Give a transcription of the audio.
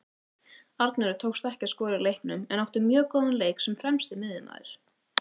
Arnóri tókst ekki að skora í leiknum en átti mjög góðan leik sem fremsti miðjumaður.